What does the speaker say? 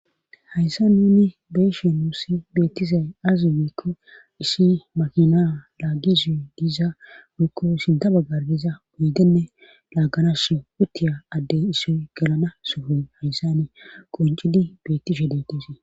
hayssa nuni beeshe nuussi beettizay azi miikko ishi makina laaggizuyy diiza wurikko sinda baggarbiza uydenne laagganashe uttiya addey issoy galana sufuy hayssa ni qoncidi bettishe deetise